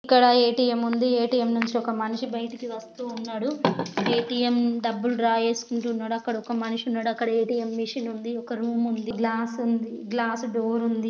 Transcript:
ఇక్కడ ఒక ఏ_టీ_ఎం ఉంది . ఏ_టీ_ఎం నుంచి ఒక మనిషి బయటకు వస్తూ ఉన్నాడు. ఏ_టీ_ఎం డబ్బులు డ్రా చేసుకుంటున్నాడు. అక్కడ ఒక మనిషి ఉన్నాడు. అక్కడ ఒక ఏ_టీ_ఎం మిషిన్ ఉంది. అక్కడొక రూమ్ ఉంది. గ్లాస్ ఉంది. గ్లాస్ డోర్ ఉంది.